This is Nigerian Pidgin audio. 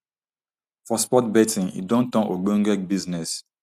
for sport betting e don turn ogbonge business